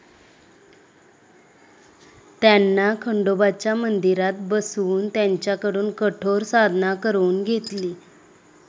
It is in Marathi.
त्यांना खंडोबाच्या मंदिरात बसवून, त्यांच्याकडून कठोर साधना करवून घेतली.